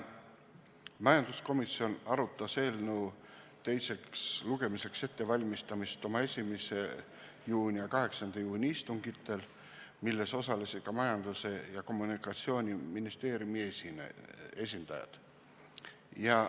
Majanduskomisjon arutas eelnõu teiseks lugemiseks ettevalmistamist oma 1. juuni ja 8. juuni istungil, milles osalesid ka Majandus- ja Kommunikatsiooniministeeriumi esindajad.